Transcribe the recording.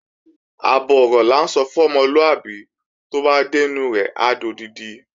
Àbọ̀ ọ̀rọ̀ là ń sọ fún ọmọlúàbí, tó bá dẹ́nu rẹ̀ á dodidi